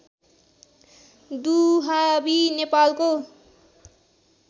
दुहाबी नेपालको